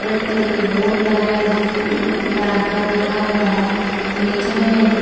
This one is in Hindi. रेड कलर की बोर्ड लगायी गयी जिसपे ऊप डाग घर लिखा गया है और नीचे में--